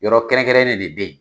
Yɔrɔ kɛrɛnkɛrɛn de bɛ yen.